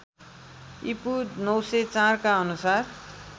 ईपू ९०४ का अनुसार